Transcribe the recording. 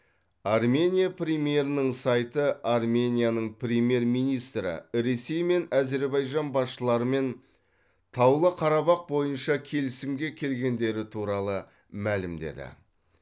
армения премьерінің сайты арменияның премьер министрі ресей мен әзірбайжан басшыларымен таулы қарабақ бойынша келісімге келгендері туралы мәлімдеді